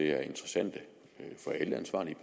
er interessante for alle ansvarlige